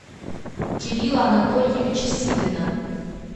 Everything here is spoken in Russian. кирилла анатольевича силина